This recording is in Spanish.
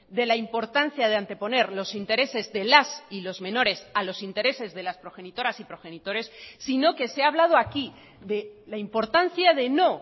de la importancia de anteponer los intereses de las y los menores a los intereses de las progenitoras y progenitores sino que se ha hablado aquí de la importancia de no